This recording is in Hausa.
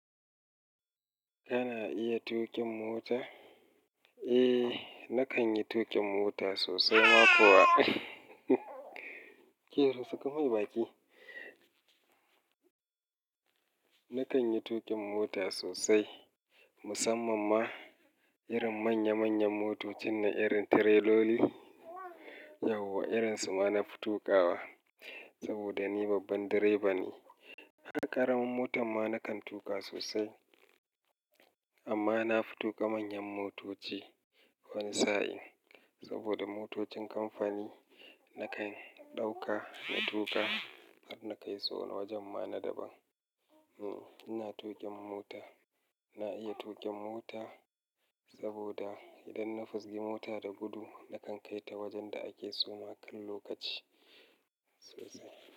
Kana iya tuƙin mota? Eh, na kan yi tuƙin mota sosai ma kuwa. Kiru suka mai baki. Na kan yi tuƙin mota sosai. Musamman ma irin manya manyan motocin na irin tireloli, yauwa irin su ma na fi tuƙawa. Saboda ni babban direba ne. Haƙaraman motar ma na kan tuƙa sosai. Amma na fi tuƙa manyan motoci wani sa'in. Saboda motocin kamfani na kan ɗauka da tuƙa har na kai suna wajen ma na daban. Hmm, ina tuƙin mota. Na iya tuƙin mota saboda idan na fisge mota da gudu, na kan kai ta wajen da ake suma kan lokaci sosai.